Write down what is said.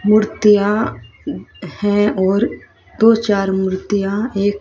मूर्तियां हैं और दो चार मूर्तियां एक--